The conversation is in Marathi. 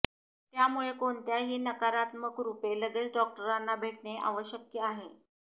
त्यामुळे कोणत्याही नकारात्मक रूपे लगेच डॉक्टरांना भेटणे आवश्यक आहे